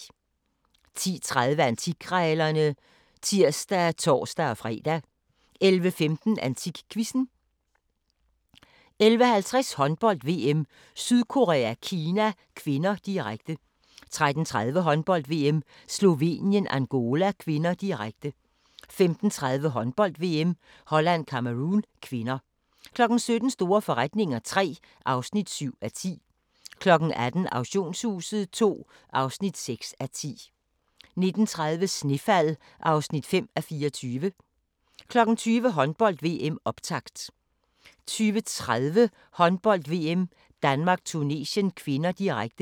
10:30: Antikkrejlerne (tir og tor-fre) 11:15: AntikQuizzen 11:50: Håndbold: VM - Sydkorea-Kina (K), direkte 13:30: Håndbold: VM - Slovenien-Angola (k), direkte 15:30: Håndbold: VM - Holland-Cameroun (k) 17:00: Store forretninger III (7:10) 18:00: Auktionshuset II (6:10) 19:30: Snefald (5:24) 20:00: Håndbold: VM - optakt 20:30: Håndbold: VM - Danmark-Tunesien (k), direkte